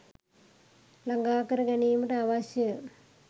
ළඟාකර ගැනීමට අවශ්‍ය